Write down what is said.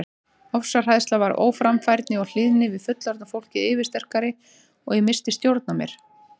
Ofsahræðsla varð óframfærni og hlýðni við fullorðna fólkið yfirsterkari og ég missti stjórn á mér.